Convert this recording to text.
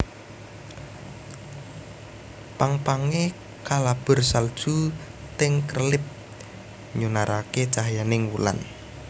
Pang pange kalabur salju ting krelip nyunarake cahyaning wulan